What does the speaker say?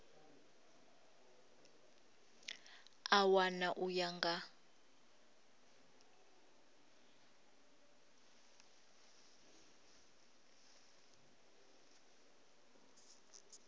a wana u ya nga